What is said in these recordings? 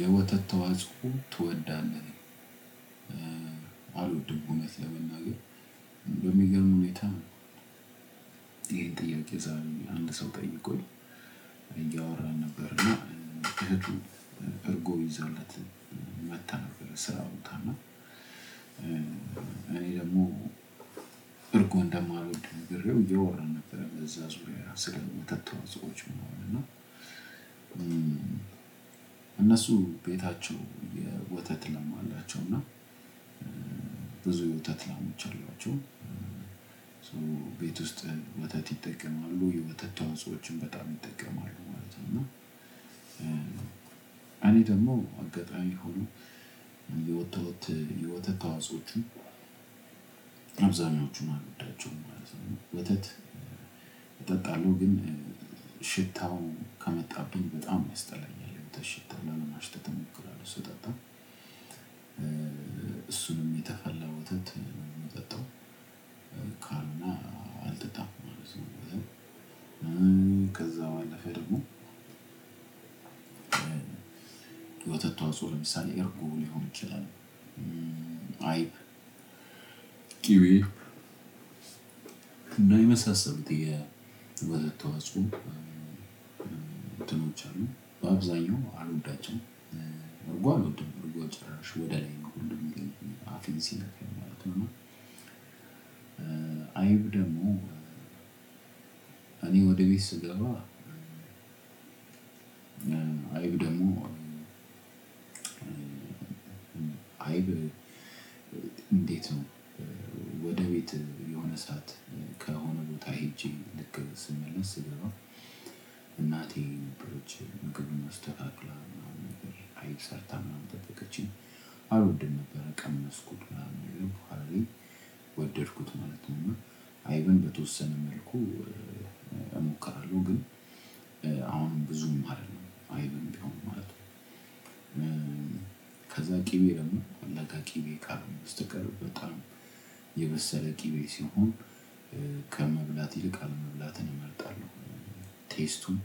የወተት ተዋጽኦ ትወዳለህ? አልወድም እውነት ለመናገር በሚገርም ሁኔታ። ይሄን ጥያቄ ዛሬ አንድ ሰው ጠይቆኝ እያወራን ነበር። እና እህቱ እርጎ ይዛለት መጥታ ነበር። ስራ ቦታ እና። እኔ ደግሞ እርጎ እንደማልወድ ነግሬው እያወራን ነበር በዛ ዙሪያ ስለ ወተት ተዋጽኦዎች ምናምን እና። እነሱ ቤታቸው የወተት ላም አላቸው። እና ብዙ የወተት ላሞች አሏቸው። ቤት ውስጥ ወተት ይጠቀማሉ የወተት ተዋጾችን በጣም ይጠቀማሉ ማለት ነው። እና እኔ ደግሞ አጋጣሚ ሆኖ የወተት ተዋጾቹን አብዛኞቹን አልወዳቸው ማለት ነው። ወተት እጠጣለሁ ግን ሽታው ካመጣብኝ በጣም ያስጠላኛል። የወተት ሽታ ላለማሽተት እሞክራለው ስጠጣ። እሱንም የተፈላው ወተት ነው ምጠጣው ካልሆነ አልጠጣም ማለት ነው። ከዛ ባለፈ ደግሞ ወተት ተዋጽኦ ለምሳሌ እርጎ ሊሆን ይችላል። አይብ ቂቤ እና የመሳሰሉት የወተት ተዋጽኦ እንትኖች አሉ በአብዛኛው አልወዳቸውም። እርጎ አልወድም እርጎ ጭራሽ ወደኔ ሁሉ አፌን ሲነካኝ ማለት ነው። እና አይብ ደግሞ እኔ ወደ ቤት ስገባ። አይብ ደግሞ አይብ እንዴት ነው ወደ ቤት የሆነ ሰዓት ከሆነ ቦታ ሄጄ ልክ ስመለስ ስገባ እናቴ ነበረች ምግብ አስተካክላ ምናምን ነገር አይብ ሰርታ ምናምን ጠበቀችኝ። አልወድም ነበር ቀመስኩት ምናምን ነገር በኋላ ላይ ወደድኩት ማለት ነውና። አይብን በተወሰነ መልኩ እሞክራለሁ ግን አሁን ብዙም አይደለም አይደለም ማለት ነው። ከዛ ቅቤ ለምን ለጋ ቅቤ ካልሆነ በስተቀር በጣም የበሰለ ቂቤ ሲሆን ከመብላት ይልቅ አለመብላትን እመርጣለሁ። ቴስቱን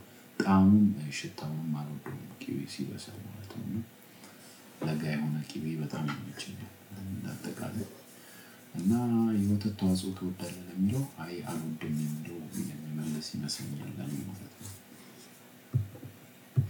ጣዕሙን ሽታውንም አልወደውም ቂቤ ሲበስል ማለት ነው። ለጋ የሆነ ቅቤ በጣም ይመቸኛል። አጠቃላይ እና የወተት ተዋጽኦ ትወዳለህ? የሚለው አይ አልወድም እንደውም የምመለስ ይመስለኛል።